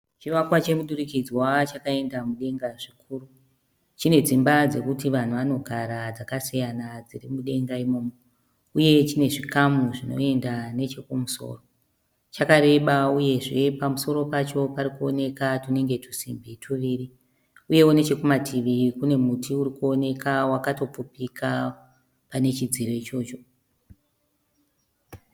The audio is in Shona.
Chivakwa chemudurikidzwa chakaenda mudenga zvikuru. Chine dzimba dzokuti vanhu vanogara dzakasiyana dziri mudenga imomo uye chine chizvikamu zvinoenda chekumusoro. Chakareba uyezve pamusoro pacho pari kuoneka twunenge twusimbi twuviri uyewo nechekumativi kune muti uri kuoneka wakatopfupika pane chidziro ichocho.